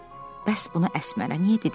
Bəs buna Əsmərə niyə dedim?